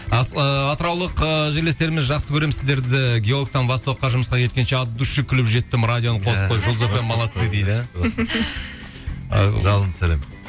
ыыы атыраулық ыыы жерлестеріміз жақсы көремін сіздерді геологтан востокқа жұмысқа жеткенше от души күліп жеттім радионы қосып қойым жұлдыз фм молодцы дейді ы жалынды сәлем